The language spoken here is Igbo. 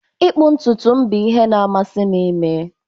Ịkpụ ntutu m bụ ihe na-amasị m ime